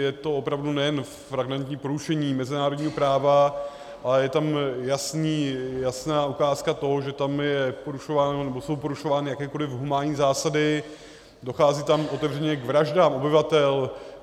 Je to opravdu nejen flagrantní porušení mezinárodního práva, ale je tam jasná otázka toho, že tam jsou porušovány jakékoliv humánní zásady, dochází tam otevřeně k vraždám obyvatel.